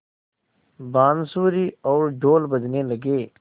बाँसुरी और ढ़ोल बजने लगे